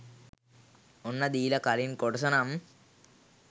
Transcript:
ඔන්න දීලා කලින් කොටස නම්